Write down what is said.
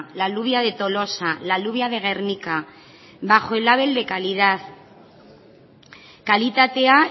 la alubia de tolosa la alubia de gernika bajo el label kalitatea